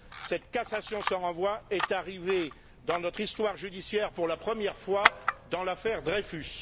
Cette cassation sans renvoi est arrivée dans notre histoire judiciaire pour la première fois dans l'affaire Dreyfus.